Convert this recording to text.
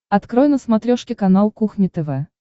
открой на смотрешке канал кухня тв